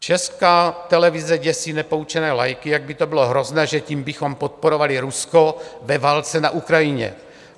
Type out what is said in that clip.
Česká televize děsí nepoučené laiky, jak by to bylo hrozné, že tím bychom podporovali Rusko ve válce na Ukrajině.